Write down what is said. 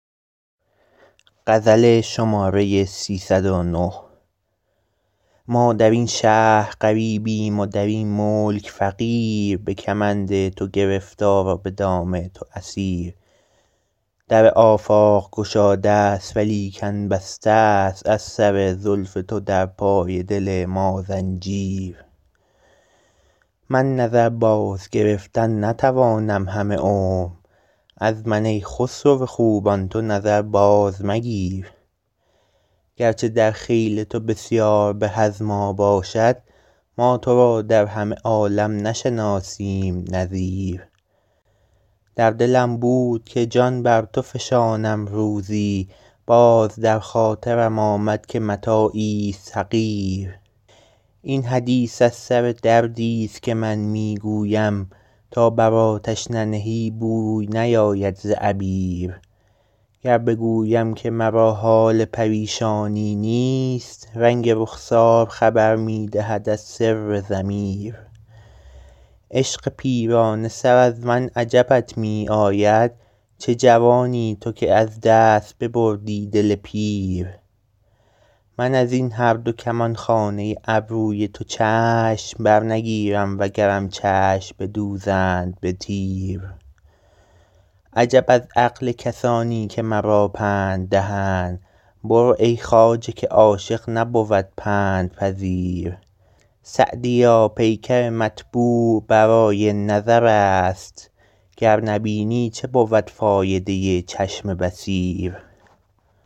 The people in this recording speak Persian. ما در این شهر غریبیم و در این ملک فقیر به کمند تو گرفتار و به دام تو اسیر در آفاق گشاده ست ولیکن بسته ست از سر زلف تو در پای دل ما زنجیر من نظر بازگرفتن نتوانم همه عمر از من ای خسرو خوبان تو نظر بازمگیر گرچه در خیل تو بسیار به از ما باشد ما تو را در همه عالم نشناسیم نظیر در دلم بود که جان بر تو فشانم روزی باز در خاطرم آمد که متاعیست حقیر این حدیث از سر دردیست که من می گویم تا بر آتش ننهی بوی نیاید ز عبیر گر بگویم که مرا حال پریشانی نیست رنگ رخسار خبر می دهد از سر ضمیر عشق پیرانه سر از من عجبت می آید چه جوانی تو که از دست ببردی دل پیر من از این هر دو کمانخانه ابروی تو چشم برنگیرم وگرم چشم بدوزند به تیر عجب از عقل کسانی که مرا پند دهند برو ای خواجه که عاشق نبود پندپذیر سعدیا پیکر مطبوع برای نظر است گر نبینی چه بود فایده چشم بصیر